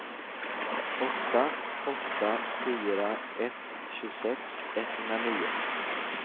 åtta åtta fyra ett tjugosex etthundranio